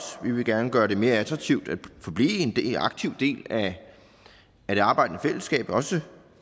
vi vil gerne gøre det mere attraktivt at forblive en aktiv del af det arbejdende fællesskab også